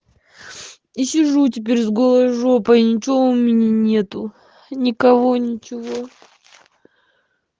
и сижу теперь с голой жопой ничего у меня нету никого ничего